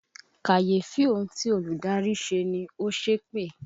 Kàyéfì ohun tí olùdarí ṣe ni, ó ṣépè